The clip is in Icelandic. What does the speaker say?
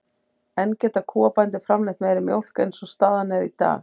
En geta kúabændur framleitt meiri mjólk eins og staðan er í dag?